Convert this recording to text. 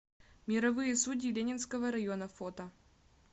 мировые судьи ленинского района фото